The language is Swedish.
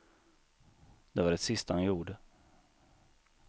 Det var det sista han gjorde.